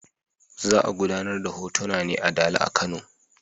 Za a gudanar da hotona ne a Dala a Kano.